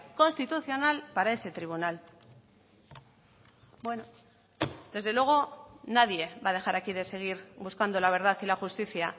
constitucional para ese tribunal bueno desde luego nadie va a dejar aquí de seguir buscando la verdad y la justicia